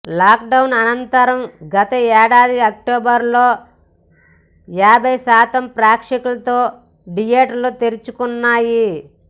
lockdown అనంతరం గతేడాది అక్టోబర్లో యాభై శాతం ప్రేక్షకులతో థియేటర్లు తెరుచుకున్నాయి